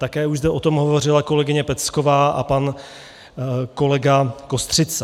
Také už zde o tom hovořila kolegyně Pecková a pan kolega Kostřica.